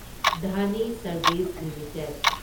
Dhani service limited